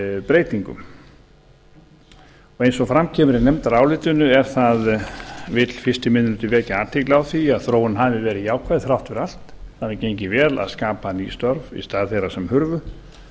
breytingum eins og fram kemur í nefndarálitinu vill fyrsti minni hluti vekja athygli á því að þróunin hafi verið jákvæð þrátt fyrir allt það hafi gengið vel að skapa ný störf í stað þeirra sem hurfu